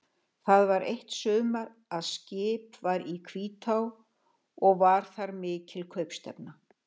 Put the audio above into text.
Það var eitt sumar að skip var í Hvítá og var þar mikil kaupstefna.